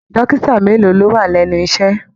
Dókítà mélòó lọ wà lẹnu iṣẹ?